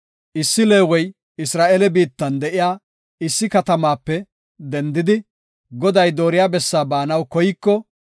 Issi Leewey Isra7eele biittan de7iya issi katamaape dendidi, Goday dooriya bessaa baanaw koyiko,